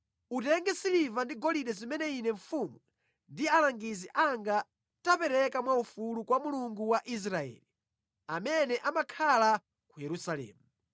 Utenge siliva ndi golide zimene ine mfumu ndi alangizi anga tapereka mwa ufulu kwa Mulungu wa Israeli, amene amakhala ku Yerusalemu.